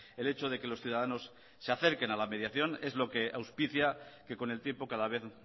el hecho de que los ciudadanos se acerquen a la mediación es lo que auspicia que con el tiempo cada vez